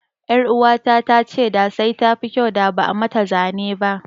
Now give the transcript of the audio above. Ƴaruwata ta ce da sai tafi kyau da ba'a mata zanen ba.